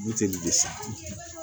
Buteli le san